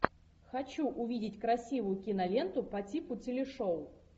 хочу увидеть красивую киноленту по типу телешоу